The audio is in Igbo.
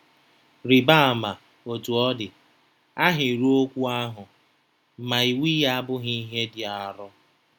Rịba ama, Otú ọ dị, ahịrịokwu ahụ: “Ma iwu ya abụghị ihe dị arọ.”